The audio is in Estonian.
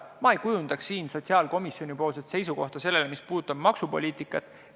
Ma ei kujundaks sotsiaalkomisjoni seisukohta, mis puudutab maksupoliitikat.